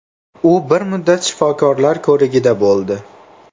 U bir muddat shifokorlar ko‘rigida bo‘ldi.